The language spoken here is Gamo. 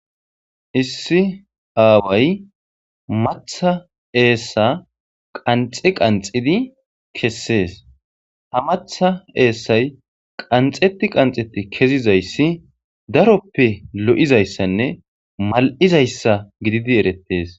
lssi aaway matha eessa qanxi qanxidi kessees ha matha eessay qanxeti qanxetti kezizayssi daroppe lo'zayssanne mal'zayssa gididi erettees.